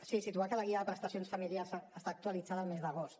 sí situar que la guia de prestacions familiars està actualitzada el mes d’agost